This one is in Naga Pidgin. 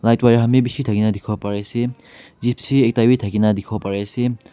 Light wire khan bi bishi thakina dikhiwo parise gypsy ekta wi thakina dikhiwo pariase.